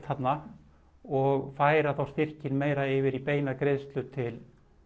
þarna og færa þá styrkinn meira yfir í beinar greiðslur til